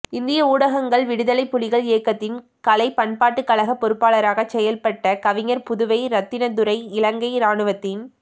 இந்திய ஊடகங்கள்விடுதலைப் புலிகள் இயக்கத்தின் கலை பண்பாட்டுக்கழக பொறுப்பாளராக செயற்பட்ட கவிஞர் புதுவை இரத்தினதுரை இலங்கை இராணுவத்தின்